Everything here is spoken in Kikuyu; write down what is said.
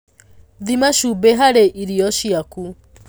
Thima cumbĩ harĩi irio ciaku.